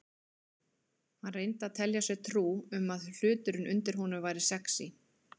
Hann reyndi að telja sér trú um að hluturinn undir honum væri sexí.